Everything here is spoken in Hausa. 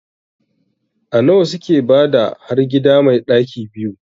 A nawa suke bada har gida mai ɗaki 2?